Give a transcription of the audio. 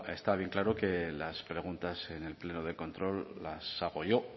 bueno está bien claro que las preguntas en el pleno de control las hago yo